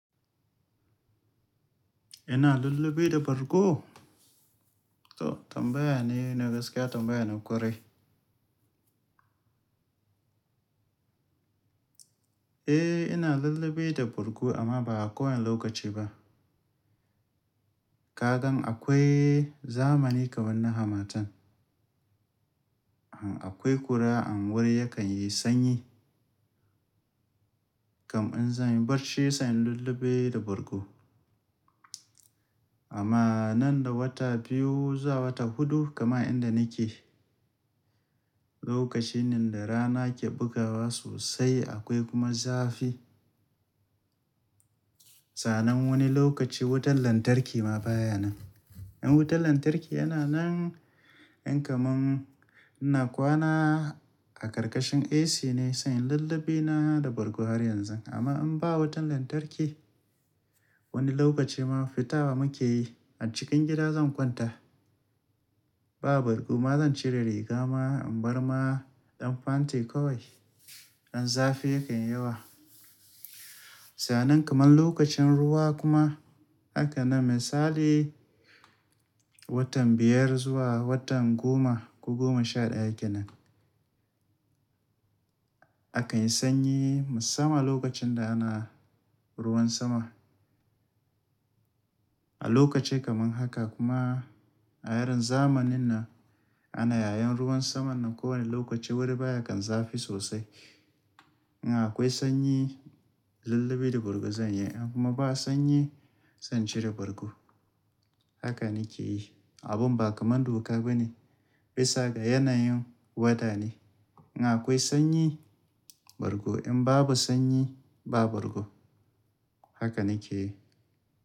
Ina lullube da bargo? To tambayan ne na gaskiya tambayan na ƙwarai. Eh ina lullube da bargo amma ba a kowane lokaci ba. Kagan akwai zamani kamar na hamatan. An akwai kura an wuri yakan yi sanyi. Kam in zan yi barci sai in lullube da bargo. Amma nan da wata biyu zuwa wata huɗu kaman inda nake. Lokaci ne da rana ke bugawa sosai akwai kuma zafi. Sanan wani lokaci wutan lantarki ma baya nan. In wutan lantarki yana nan, in kaman ina kwana a ƙarƙashin AC ne sai in lullube na da bargo har yanzu. Amma in ba wutan lantarki, wani lokaci ma fita wa muke yi. A cikin gida zan kwanta. Ba bargo ma zan cire riga ma an bar ma ɗan fanti kawai. An zafi yakan yawa. Sanan kamar lokacin ruwa kuma hakan nan misali, watan biyar zuwa watan goma ko goma sha ɗaya kenan. A kan yi sanyi musamman lokacin da ana ruwan sama. A lokaci kamar haka kuma a yaren zamanin nan ana yayin ruwan saman nan ko wani lokaci wurin baya kan zafi sosai. In akwai sanyi lullube da bargo zan yi in kuma ba sanyi zan cire bargo. Haka nake yi. Abun ba kamar doka ba ne. Bisa ga yanayin wata ne. In akwai sanyi bargo in babu sanyi ba bargo. Haka nake yi.